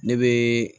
Ne bɛ